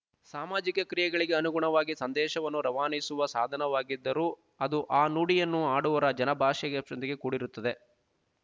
ಸಾಮಾಜಿಕ ಕ್ರಿಯೆಗಳಿಗೆ ಅನುಗುಣವಾಗಿ ಸಂದೇಶವನ್ನು ರವಾನಿಸುವ ಸಾಧನವಾಗಿದ್ದರೂ ಅದು ಆ ನುಡಿಯನ್ನು ಆಡುವರ ಜನ ಭಾಷೆಗೆ ಪ್ರದಿಗೆ ಕೂಡಿರುತ್ತದೆ